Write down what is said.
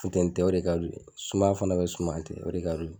Funteni tɛ o de ka di u ye sumaya fana bɛ sumaya tɛ o de ka di u ye